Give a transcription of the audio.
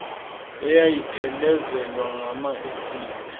eyayiphelezelwa ngama esile